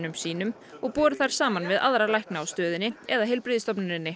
sínum og borið þær saman við aðra lækna á stöðinni eða